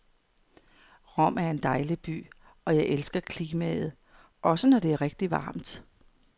Rom er en dejlig by, og jeg elsker klimaet, også når det er rigtigt varmt.